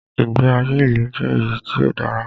Ìgbé ayé ilu jẹ́ èyí tí o dára.